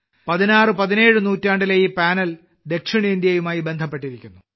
16 17 നൂറ്റാണ്ടിലെ ഈ പാനൽ ദക്ഷിണേന്ത്യയുമായി ബന്ധപ്പെട്ടിരിക്കുന്നു